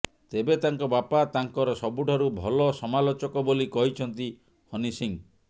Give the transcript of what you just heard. ତେବେ ତାଙ୍କ ବାପା ତାଙ୍କର ସବୁଠାରୁ ଭଲ ସମାଲୋଚକ ବୋଲି କହିଛନ୍ତି ହନି ସିଂହ